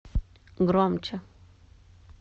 громче